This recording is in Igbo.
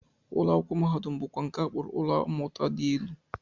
Ụlọakwụkwọ mahadum bụkwa nke a kpọrọ ụlọ mmụta dị elu